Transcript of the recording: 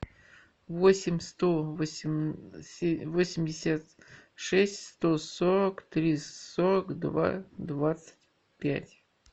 восемь сто восемьдесят шесть сто сорок три сорок два двадцать пять